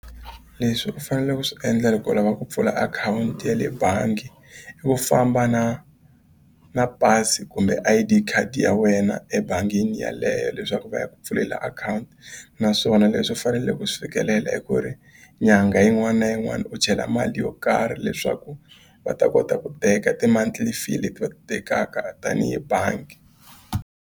Leswi u faneleke ku swi endle loko u lava ku pfula akhawunti ya le bangi i ku famba na na pasi kumbe I_D khadi ya wena ebangini yeleyo leswaku va yi ku pfulela akhawunti naswona leswi u faneleke ku swi fikelela i ku ri nyangha yin'wana na yin'wana u chela mali yo karhi leswaku va ta kota ku teka ti-monthly fee leti va tekaka tanihi bangi.